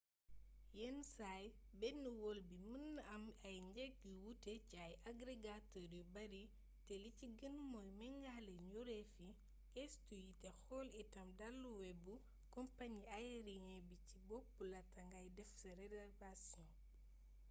yenn saay benn wol bi mën naa am ay njëg yu wuute ci ay agregateur yu bari te li ci gën mooy méngale njuréefi gëstu yi te xool itam daluwebu compañi ayeriyen bi ci bopp laata ngay def sa reservation